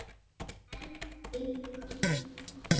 En fnykur